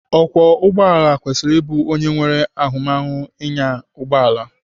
Ọkwọ ụgbọala kwesịrị ịbụ onye nwere ahụmahụ ịnya ụgbọala.